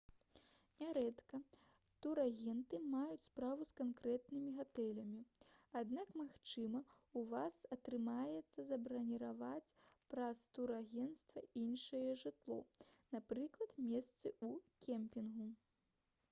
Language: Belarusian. нярэдка турагенты маюць справу з канкрэтнымі гатэлямі аднак магчыма у вас атрымаецца забраніраваць праз турагента іншае жытло напрыклад месцы ў кемпінгу